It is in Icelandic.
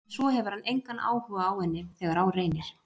En svo hefur hann engan áhuga á henni þegar á reynir.